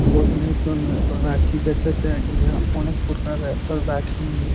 বহিনের জন্য রাখি বেঁচেছে ইহা অনেক প্রকারের রাখি--